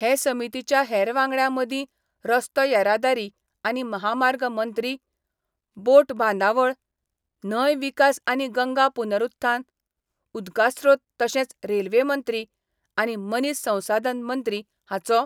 हे समितीच्या हेर वांगड्यां मदीं रस्तो येरादारी आनी महामार्ग मंत्री, बोट बांदावळ, न्हंय विकास आनी गंगा पुनरुत्थान, उदकास्रोत तशेंच रेल्वे मंत्री आनी मनीस संसाधन मंत्री हांचो